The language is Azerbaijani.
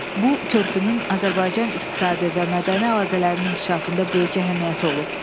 Bu körpünün Azərbaycan iqtisadi və mədəni əlaqələrinin inkişafında böyük əhəmiyyəti olub.